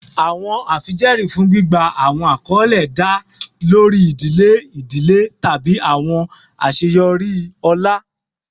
Awọn afijẹẹri fun gbigba awọn akọle da lori idile idile tabi awọn aṣeyọri ọlá